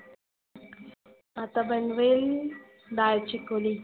आता बनवेल दाळ चिकोली.